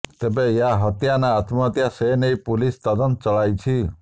ତେବେ ଏହା ହତ୍ୟା ନା ଆତ୍ମହତ୍ୟା ସେ ନେଇ ପୁଲିସ ତଦନ୍ତ ଚଳାଇଛି